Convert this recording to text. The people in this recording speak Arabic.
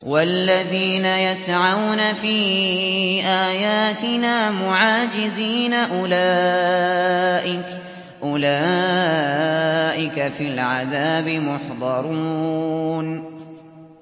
وَالَّذِينَ يَسْعَوْنَ فِي آيَاتِنَا مُعَاجِزِينَ أُولَٰئِكَ فِي الْعَذَابِ مُحْضَرُونَ